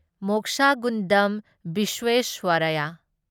Mokshagundam Visvesvaraya